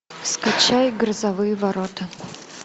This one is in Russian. скачай грозовые ворота